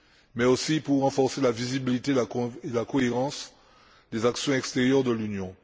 mais aussi pour renforcer la visibilité et la cohérence des actions extérieures de l'Union.